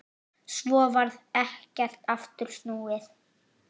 Svo varð ekkert aftur snúið.